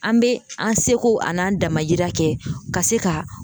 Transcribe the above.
An bɛ an seko an n'an damayira kɛ ka se ka.